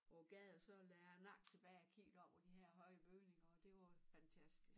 På æ gade og så lagde jeg æ nakke tilbage og kiggede op på de her høje bygninger og det var jo fantastisk